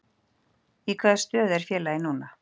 Í hvaða stöðu er félagið núna?